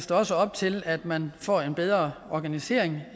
der også op til at man får en bedre organisering